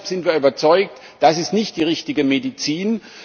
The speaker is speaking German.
Deshalb sind wir überzeugt Das ist nicht die richtige Medizin.